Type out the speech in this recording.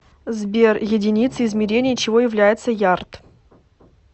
сбер единицей измерения чего является ярд